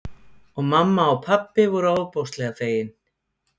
Og mamma og pabbi voru ofboðslega fegin.